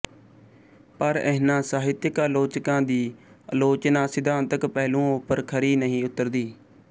ਪਰ ਇਹਨਾਂ ਸਾਹਿਤਕ ਆਲੋਚਕਾਂ ਦੀ ਆਲੋਚਨਾ ਸਿਧਾਂਤਕ ਪਹਿਲੂਆਂ ਉੱਪਰ ਖਰੀ ਨਹੀਂ ਉੱਤਰਦੀ